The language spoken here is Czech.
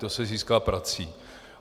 To se získá prací.